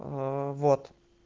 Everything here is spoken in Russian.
вот